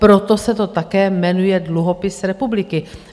Proto se to také jmenuje Dluhopis republiky.